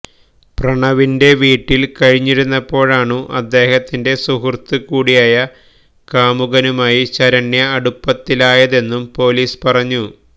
പ്രണവിന്റെ വീട്ടില് കഴിഞ്ഞിരുന്നപ്പോഴാണു അദ്ദേഹത്തിന്റെ സുഹൃത്ത് കൂടിയായ കാമുകനുമായി ശരണ്യ അടുപ്പത്തിലായതെന്നും പൊലിസ് പറഞ്ഞു